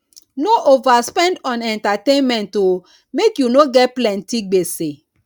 no overspend on entertainment o make you no get plenty gbese